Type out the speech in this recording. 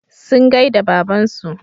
Sun gaida babansu.